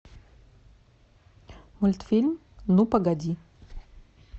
мультфильм ну погоди